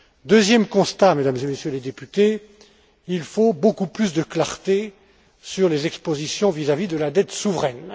Deuxième constat, Mesdames et Messieurs les députés il faut beaucoup plus de clarté sur les expositions vis à vis de la dette souveraine.